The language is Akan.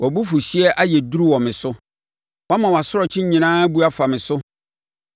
Wʼabofuhyeɛ ayɛ duru wɔ me so; woama wʼasorɔkye nyinaa abu afa me so.